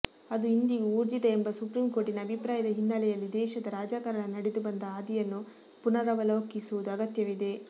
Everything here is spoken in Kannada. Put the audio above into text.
ಅದು ಇಂದಿಗೂ ಊರ್ಜಿತ ಎಂಬ ಸುಪ್ರೀಂ ಕೋರ್ಟಿನ ಅಭಿಪ್ರಾಯದ ಹಿನ್ನೆಲೆಯಲ್ಲಿ ದೇಶದ ರಾಜಕಾರಣ ನಡೆದುಬಂದ ಹಾದಿಯನ್ನುಪುನರವಲೋಕಿಸುವುದೂ ಅಗತ್ಯವಿದೆ